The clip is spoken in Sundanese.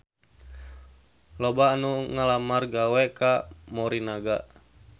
Loba anu ngalamar gawe ka Morinaga